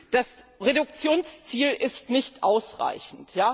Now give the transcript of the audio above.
Das Reduktionsziel ist nicht ausreichend.